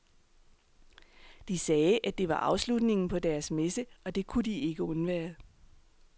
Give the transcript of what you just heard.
De sagde, at det var afslutningen på deres messe, og det kunne de ikke undvære.